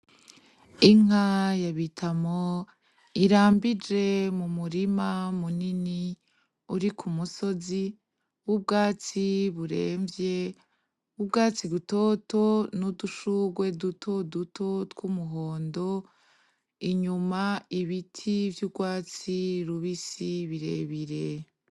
Inka ya bitamo irambije mu murima munini uri ku musozi w’ubwatsi buremvye, w’ubwatsi butoto n’udushurwe duto duto tw’umuhondo .Inyuma, ibiti vy’urwatsi rubisi birebire.